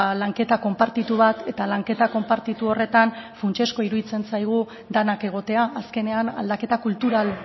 lanketa konpartitu bat eta lanketa konpartitu horretan funtsezkoa iruditzen zaigu denak egotea azkenean aldaketa kultural